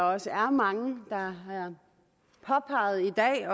også er mange der har påpeget i dag